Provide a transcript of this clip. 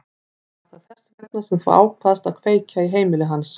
Var það þess vegna sem þú ákvaðst að kveikja í heimili hans?